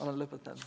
Olen lõpetanud.